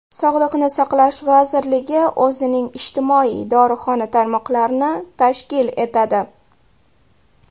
Sog‘liqni saqlash vazirligi o‘zining ijtimoiy dorixona tarmoqlarini tashkil etadi.